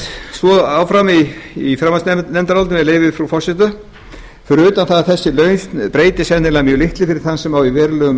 svo áfram í fjárhagsnefndarálitinu með leyfi frú forseta fyrir utan það að þessi lausn breytir sennilega mjög litlu fyrir þann sem á í verulegum